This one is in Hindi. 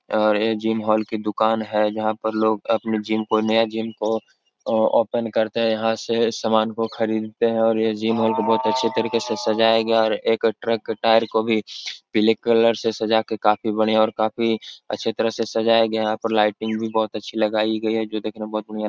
और ऐ जिम होल की दुकान है जहां पर लोग अपने जिम को नया जिम को ओपन करते है। यहाँ से सामान को खरीदते हैं और ऐ जिम होल बहोत ही अच्छे तरीके से सजाया गया और एक ट्रक टायर को भी पीले कलर से सजाके काफी बढ़िया और काफी अच्छे तरह से सजाया गया है। यहाँ पर लाईटिंग भी बहोत अच्छी लगाई गई है जो देखने में बहोत बढ़ियां --